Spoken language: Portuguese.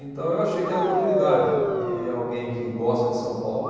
Então eu achei que era uma oportunidade de alguém que gosta de São Paulo.